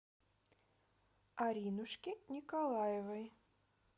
аринушке николаевой